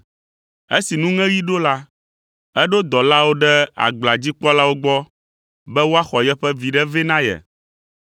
“Esi nuŋeɣi ɖo la, eɖo dɔlawo ɖe agblea dzi kpɔlawo gbɔ be woaxɔ yeƒe viɖe vɛ na ye.